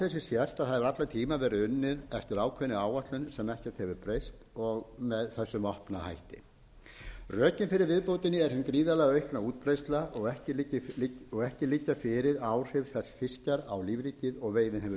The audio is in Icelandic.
hefur allan tímann verið unnið eftir ákveðinni áætlun sem ekkert hefur breyst og með þessum opna hætti rökin fyrir viðbótinni er hin gríðarlega aukna útbreiðsla ekki liggja fyrir áhrif þess fiskjar á lífríkið og veiðin hefur